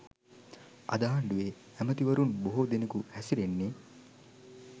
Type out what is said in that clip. අද ආණ්ඩුවේ ඇමැතිවරුන් බොහෝ දෙනෙකු හැසිරෙන්නේ